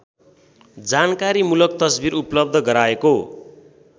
जानकारीमूलक तस्बिर उपलब्ध गराएको